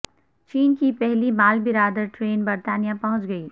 چین کی پہلی مال بردار ٹرین برطانیہ پہنچ گئی